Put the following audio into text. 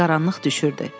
Qaranlıq düşürdü.